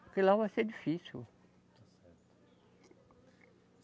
Porque lá vai ser difícil. Está certo.